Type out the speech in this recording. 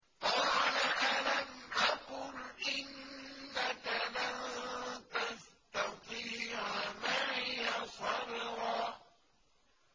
قَالَ أَلَمْ أَقُلْ إِنَّكَ لَن تَسْتَطِيعَ مَعِيَ صَبْرًا